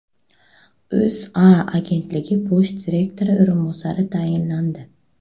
O‘zA agentligi bosh direktori o‘rinbosari tayinlandi.